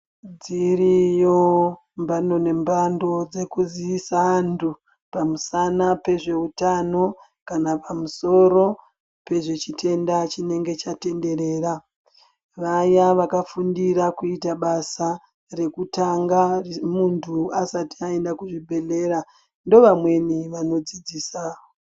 Dziriyo mbando nembando dzekuziyisa antu pamusana pezveutano kana pamusoro pezvechitenda chinenge chatenderera. Vaya vakafundira kuita basa rekutanga muntu asati aenda kuzvibhedhlera ndovamweni vanodzidzisa.